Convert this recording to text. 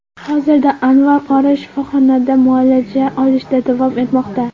Hozirda Anvar qori shifoxonda muolaja olishda davom etmoqda.